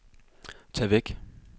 tag væk